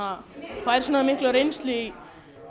fær mikla reynslu í